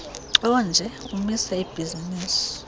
onje umisa ibhizinisi